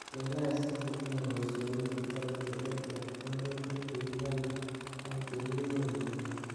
Pchei kasisiek chetinye boisionik chetogu che terter, woluutik che kikonye ak chekimuch kenyor.